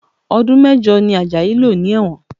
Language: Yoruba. Ọdún mẹ́jọ ni Ajayi lò ní ẹ̀wọ̀n